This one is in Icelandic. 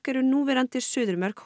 eru núverandi suðurmörk